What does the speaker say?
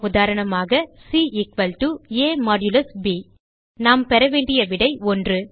உதாரணமாக C a160 ப் நாம் பெற வேண்டிய விடை 1